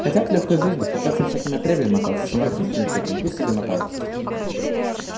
хотят лёгкой жизни хотят со всяким отребьем мотаться с анархистами всякими пусть себе мотаются